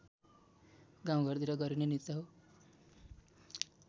गाउँघरतिर गरिने नृत्य हो